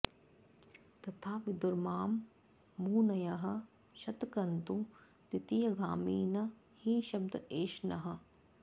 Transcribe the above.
तथा विदुर्मां मुनयः शतक्रतुं द्वितीयगामी न हि शब्द एष नः